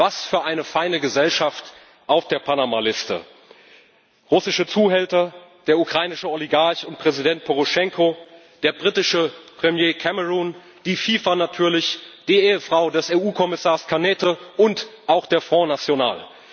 Was für eine feine Gesellschaft auf der Panama Liste russische Zuhälter, der ukrainische Oligarch und Präsident Poroschenko, der britische Premier Cameron, die FIFA natürlich, die Ehefrau des EU Kommissars Cañete und auch der Front National.